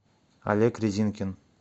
олег резинкин